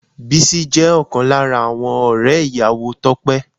Bísí jẹ́ ọ̀kan lára àwọn ọ̀rẹ́ ìyàwó Tope